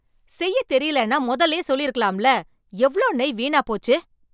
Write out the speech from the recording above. செய்யத் தெரியலேன்னா முதல்லயே சொல்லிருக்கலாம்ல, எவ்ளோ நெய் வீணா போச்சு.